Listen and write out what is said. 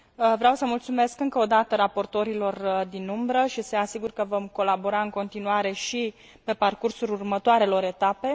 Vreau să mulțumesc încă o dată raportorilor din umbră și să i asigur că vom colabora în continuare și pe parcursul următoarelor etape.